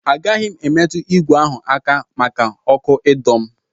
Agaghị m emetụ ìgwè ahụ aka maka ọkụ ịdọ m.